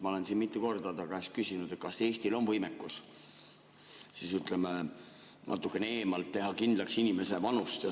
Ma olen siin mitu korda ta käest küsinud, kas Eestil on võimekus, ütleme, natukene eemalt teha kindlaks inimese vanust.